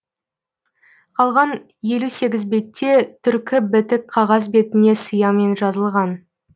қалған елу сегіз бетте түркі бітік қағаз бетіне сиямен жазылған